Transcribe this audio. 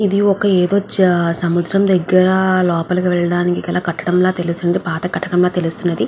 ఇది ఒక ఏదో ఒక సముద్రం దగ్గర లోపలికి వెళ్లడానికి గల కట్టడంలా తెలిసింది పాత కట్టడంలో తెలుస్తుంది.